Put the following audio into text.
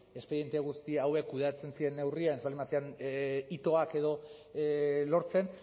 espediente guzti hauek kudeatzen ziren neurrian ez baldin baziren hitoak edo lortzen